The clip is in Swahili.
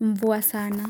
mvua sana.